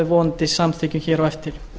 vonandi samþykkjum hér á eftir